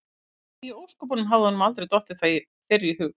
Því í ósköpunum hafði honum aldrei dottið það fyrr í hug?